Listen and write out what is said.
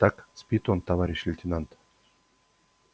так спит он товарищ лейтенант